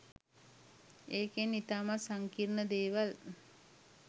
ඒකෙන් ඉතාමත් සංකීර්ණ දේවල්